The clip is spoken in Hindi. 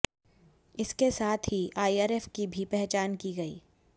इसके साथ ही आईआरएफ की भी पहचान की गई